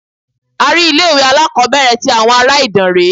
A rí ilé ìwé aláàkọ́bẹ̀rẹ̀ tí àwọn ará Ìdànrè.